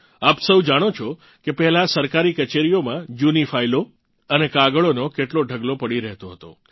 આપ સૌ જાણો છો કે પહેલાં સરકારી કચેરીઓમાં જૂની ફાઇલો અને કાગળોનો કેટલો ઢગલો પડી રહેતો હતો